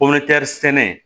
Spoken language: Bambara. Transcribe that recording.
sɛnɛ